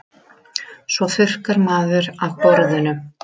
Svo þurrkar maður af borðunum.